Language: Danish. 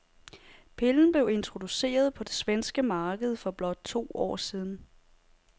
Pillen blev introduceret på det svenske marked for blot to år siden.